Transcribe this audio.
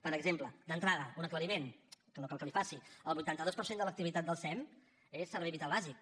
per exemple d’entrada un aclariment que no cal que li faci el vuitanta dos per cent de l’activitat del sem és servei vital bàsic